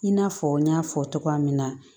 I n'a fɔ n y'a fɔ togoya min na